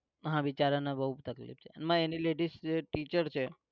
હા બિચારાને બોવ તકલીફ છે. એમાં એની ladies જે teacher છે